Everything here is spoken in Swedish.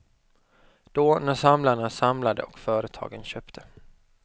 Då, när samlarna samlade och företagen köpte.